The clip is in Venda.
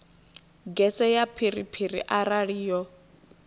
gese ya phiriphiri arali yo